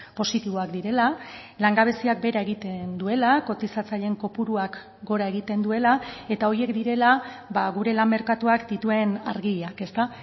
positiboak direla langabeziak behera egiten duela kotizatzaileen kopuruak gora egiten duela eta horiek direla gure lan merkatuak dituen argiak ezta